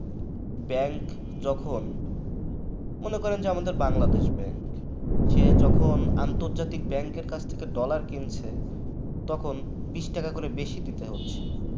bank যখন মনে করেন যে আমাদের বাংলাদেশ bank সে যখন আন্তর্জাতিক bank র কাছ থেকে dollar কিনছে তখন বিস টাকা করে বেশি দিতে হচ্ছে।